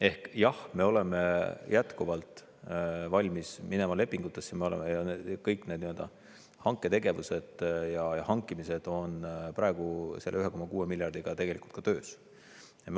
Ehk jah, me oleme jätkuvalt valmis minema lepingutesse, meil on kõik need nii-öelda hanketegevused ja hankimised praegu selle 1,6 miljardiga tegelikult töös.